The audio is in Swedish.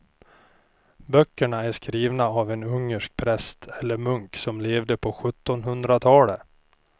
Böckerna är skrivna av en ungersk präst eller munk som levde på sjuttonhundratalet.